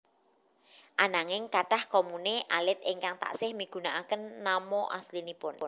Ananging kathah komune alit ingkang taksih migunakaken nama aslinipun